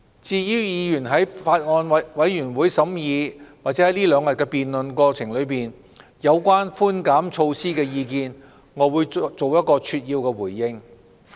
至於議員在法案委員會審議或在這兩天的辯論過程中，提出有關寬減措施的意見，我會作一個扼要的回應。